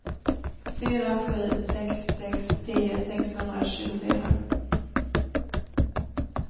fyra sju sex sex tio sexhundratjugofyra